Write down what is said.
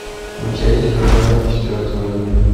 у тебя есть рожденный четвертого июля